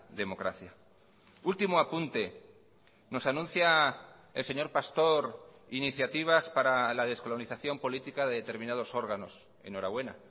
democracia último apunte nos anuncia el señor pastor iniciativas para la descolonización política de determinados órganos enhorabuena